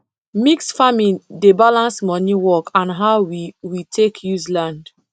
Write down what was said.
mixed farming dey balance money work and how we we take use land